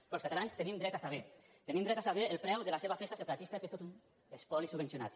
però els catalans tenim dret a saber tenim dret a saber el preu de la seva festa separatista que és tot un espoli subvencionat